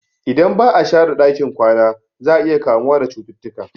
Idan ba'a share ɗakin kwana za'a iya kamuwa da cututtuka